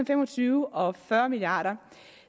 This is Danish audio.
fem og tyve og fyrre milliard kr